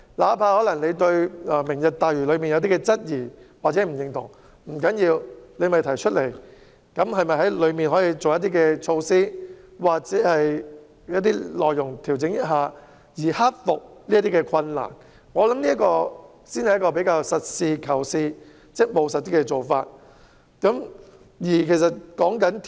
哪怕有人對"明日大嶼"計劃有質疑或不認同，但不要緊，可以提出來討論，然後對當中的措施或內容加以修改或調整，盡量克服困難，我認為這才是實事求是及務實的做法。